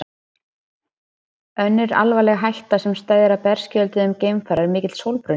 Önnur alvarleg hætta sem steðjar að berskjölduðum geimfara er mikill sólbruni.